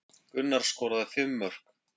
Gunnar skoraði fimm mörk